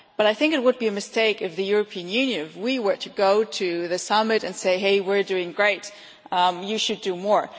But I think it would be a mistake if we, the European Union, were to go to the summit and say Hey, we are doing great, you should do more!'